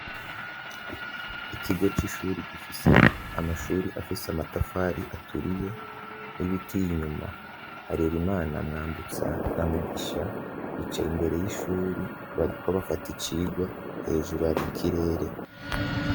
Ikigo c'ishure gifise amashure afise amatafari aturiye n'ibiti inyuma, Harerimana na Mwambutsa na Mugisha bicaye imbere y'ishure bariko bafata icigwa, hejuru hari ikirere.